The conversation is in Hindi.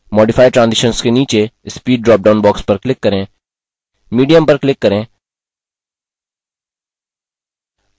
modify transitions के नीचे speed dropdown box पर click करें medium पर click करें